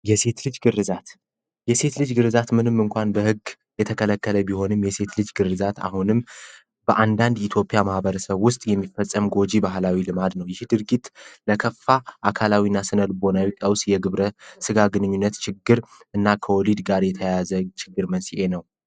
የሴት ልጅ ግርዛት የሴት ልጅ ግርዛት ምንም እንኳን በህግ የተከለከለ ቢሆንም የሴት ልጅ ግርዛት አሁንም በአንዳንድ የኢትዮጵያ ማህበረሰብ የሚፈፀም ጎጂ ባህል ነው ። ይህ ድርጊት ለከፋ አካላዊ እና ስነልቦናዊ ቀውስ የግብረስጋ ግንኙነት ችግር እና ከወሊድ ጋር የተያያዘ ችግር መንስኤ ነው።